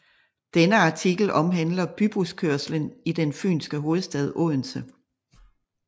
Denne artikel omhandler bybuskørslen i den Fynske hovedstad Odense